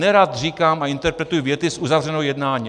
Nerad říkám a interpretuji věty z uzavřeného jednání.